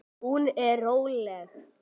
Hún er róleg.